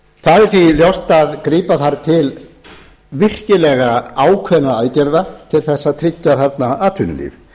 það er því ljóst að grípa þarf til virkilega ákveðinna aðgerða til þess að tryggja þarna atvinnulíf